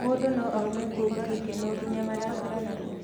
mũndũ no aume kuuma gĩkeno nginya marakara narua